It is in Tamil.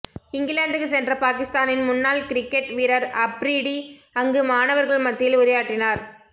இங்கிலாந்துக்கு சென்ற பாகிஸ்தானின் முன்னாள் கிரிக்கெட் வீரர் அப்ரீடி அங்கு மாணவர்கள் மத்தியில் உரையாற்றினார்